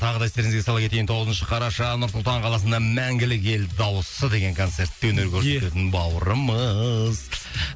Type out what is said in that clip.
тағы да естеріңізге сала кетейін тоғызыншы қараша нұр сұлтан қаласында мәңгілік ел дауысы деген концертте өнер көрсететін бауырымыз